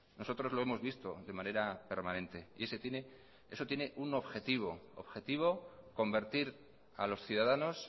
nosotros lo hemos visto de manera permanente y eso y tiene un objetivo convertir a los ciudadanos